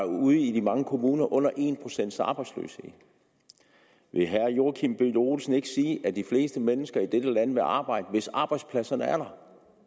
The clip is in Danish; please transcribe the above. ude i de mange kommuner under en procent arbejdsløshed vil herre joachim b olsen ikke sige at de fleste mennesker i dette land vil arbejde hvis arbejdspladserne er der